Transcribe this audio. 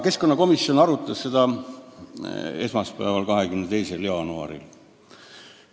Keskkonnakomisjon arutas eelnõu esmaspäeval, 22. jaanuaril.